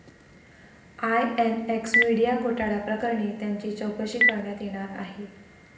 INX media घोटाळ्याप्रकरणी त्यांची चौकशी करण्यात येणार आहे.